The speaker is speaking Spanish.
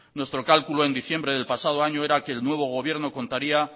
nuestro cálculo en diciembre del pasado año era que el nuevo gobierno contaría